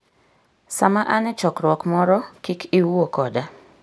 Sama an e chokruok moro, kik iwuo koda.